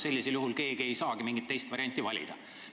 Sellisel juhul ei saa ju keegi mingit teist varianti valida.